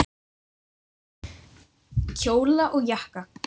Kjóla og jakka.